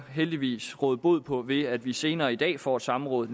heldigvis råde bod på ved at vi senere i dag får et samråd